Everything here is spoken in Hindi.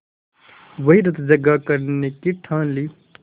वहीं रतजगा करने की ठान ली